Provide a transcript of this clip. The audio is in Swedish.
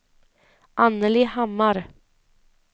Anneli Hammar